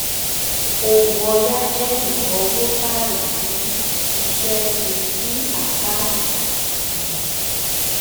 owó ọ̀yà jẹ́ ináwó tààrà fún iṣẹ́ ṣí sí àkáǹtì. um